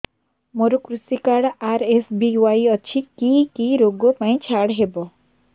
ମୋର କୃଷି card RSBY ଅଛି କି କି ଋଗ ପାଇଁ ଛାଡ଼ ହବ